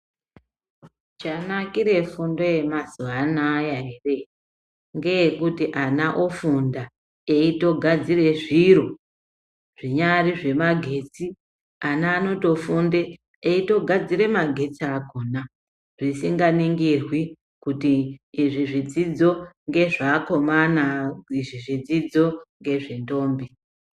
Chanakire fundo yemazuwa anaya ere, ngeyekuti ana ofunda, eitogadzire zviro ,zvinyari zvemagetsi. Ana anotofunde ,eitogadzire magetsi akhona, zvisinganingirwi kuti izvi zvidzidzo ngezveakomana, kana kuti, izvi zvidzidzo, ngezvendombi.